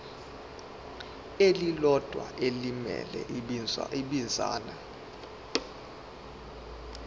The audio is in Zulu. elilodwa elimele ibinzana